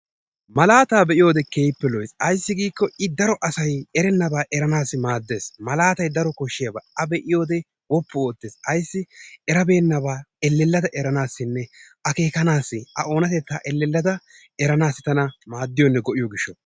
Malaataa be'iyode keehippe lo'es. Ayissi giikko I daro asay erennabaa eranaassi maaddes. Malaatay daro koshshiyaba. A be'iyode woppu oottes. Ayissi erabeennabaa ellellada eranaassinne akeekanaassi a oonatettaa ellellada eranaassi tana maaddiyonne go'iyo gishshawu.